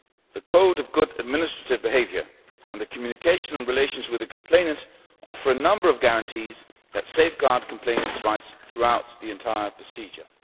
The Code of Good Administrative Behaviour and the Communication on relations with the complainant offer a number of guarantees that safeguard complainants' rights throughout the entire procedure.